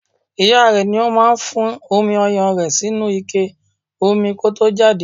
Ìyá rẹe ní òun máa fún omi ọyàn rẹ̀ sínú ike omi kó tó jáde.